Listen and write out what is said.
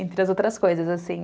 Entre as outras coisas, assim.